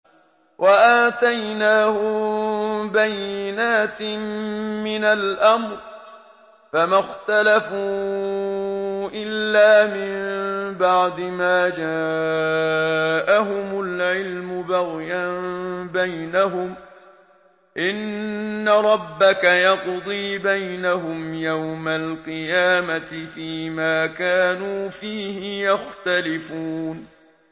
وَآتَيْنَاهُم بَيِّنَاتٍ مِّنَ الْأَمْرِ ۖ فَمَا اخْتَلَفُوا إِلَّا مِن بَعْدِ مَا جَاءَهُمُ الْعِلْمُ بَغْيًا بَيْنَهُمْ ۚ إِنَّ رَبَّكَ يَقْضِي بَيْنَهُمْ يَوْمَ الْقِيَامَةِ فِيمَا كَانُوا فِيهِ يَخْتَلِفُونَ